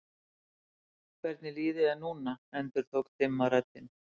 Hvernig líður þér núna endurtók dimma röddin.